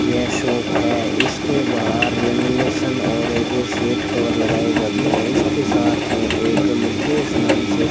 यह शॉप है इसके बाहर लेमिलेशन और रेडियो सीट कवर लगाए जाते है इसके साथ में एक मुकेश नाम से --